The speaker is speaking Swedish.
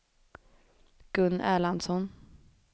Gun Erlandsson